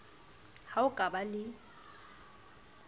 ha o ka ba le